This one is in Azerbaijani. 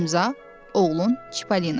İmza, oğlun Çippolina.